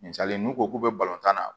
Misali n'u ko k'u bɛ tan na